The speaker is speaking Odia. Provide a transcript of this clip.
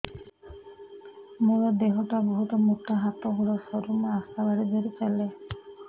ମୋର ଦେହ ଟା ବହୁତ ମୋଟା ହାତ ଗୋଡ଼ ସରୁ ମୁ ଆଶା ବାଡ଼ି ଧରି ଚାଲେ